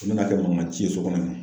U bɛn'a kɛ mankan ci ye sokɔnɔ ye